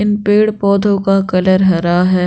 इन पेड़-पौधों का कलर हरा है।